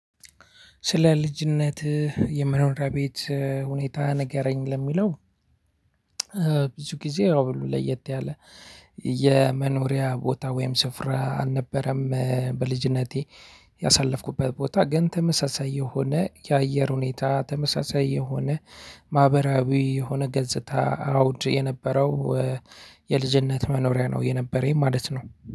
ስለ ልጅነትህ የመኖሪያ ቤት ሁኔታ ነገረኝ ለሚለው? ብዙ ጊዜ ያው ለየት ያለ የመኖሪያ ቦታ ወይም ስፍራ አልነበረም። በልጅነቴ ያሳለፍኩበት ቦታ ግን ተመሳሳይ የሆነ የአየር ሁኔታ ተመሳሳይ የሆነ ማህበራዊ የሆነ ገጽታ አውድ የነበረው የልጅነት መኖሪያ ነው የነበረኝ ማለት ነው።